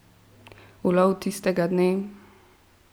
Ulov tistega dne?